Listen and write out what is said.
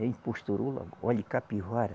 Em Posturula, olhe Capivara.